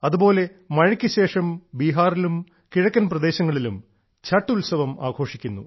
അതുപോലെ മഴക്ക് ശേഷം ബീഹാറിലും കിഴക്കൻ പ്രദേശങ്ങളിലും ഉത്സവം ആഘോഷിക്കുന്നു